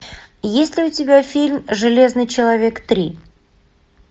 есть ли у тебя фильм железный человек три